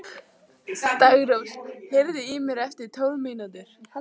Daggrós, heyrðu í mér eftir tólf mínútur.